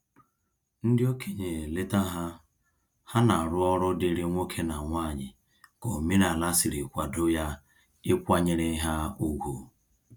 Ndị okenye leta ha, ha na arụ ọrụ diri nwoke na nwanyị ka omenala sịrị kwado ya ịkwanyere ha ùgwù